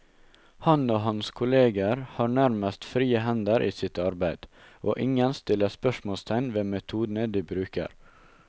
Han og hans kolleger har nærmest frie hender i sitt arbeid, og ingen stiller spørsmålstegn ved metodene de bruker.